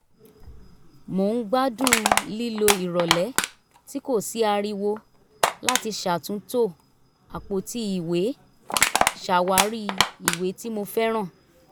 mo ń gbádùn lílo ìrọ̀lẹ́ tí kò sí ariwo láti ṣàtúntò àpótí ìwé ṣàwárí ìwé tí mo fẹ́ràn